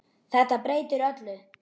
Þetta breytir öllu.